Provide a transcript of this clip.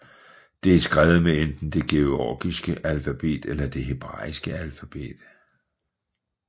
Det er skrevet med enten det georgiske alfabet eller det hebraiske alfabet